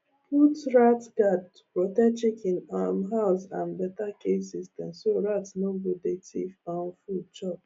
put rat guard to protect chicken um house and better cage system so rat no go dey thief um food chop